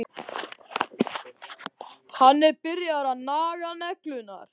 Hann er byrjaður að naga neglurnar.